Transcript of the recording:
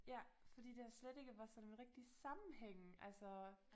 Ja fordi der slet ikke var sådan rigtig sammenhæng altså